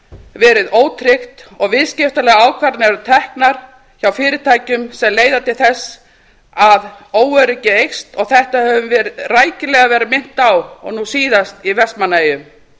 verið ótryggt og viðskiptalegar ákvarðanir eru teknar hjá fyrirtækjum sem leiða til þess að óöryggi eykst og þetta höfum við rækilega verið minnt á og nú síðast í vestmannaeyjum